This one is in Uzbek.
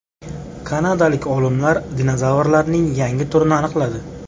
Kanadalik olimlar dinozavrlarning yangi turini aniqladi.